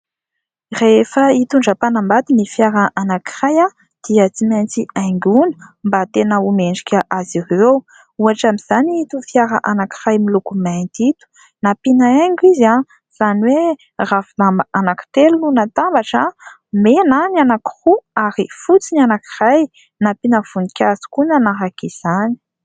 Rehefa hitondram-panambady ny fiara anankiray dia tsy maintsy haingona mba tena ho mendrika azy ireo, ohatra amin'izany ito fiara anankiray miloko mainty ito, nampiana haingo izy, izany hoe ravin-damba anankitelo no natambatra, mena ny anankiroa ary fotsy ny anankiray, nampiana voninkazo koa nanaraka izany.